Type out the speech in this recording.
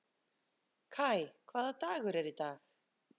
Kai, hvaða dagur er í dag?